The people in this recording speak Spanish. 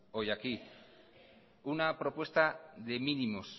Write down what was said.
hoy aquí una propuesta de mínimos